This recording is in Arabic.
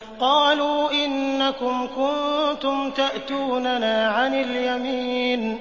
قَالُوا إِنَّكُمْ كُنتُمْ تَأْتُونَنَا عَنِ الْيَمِينِ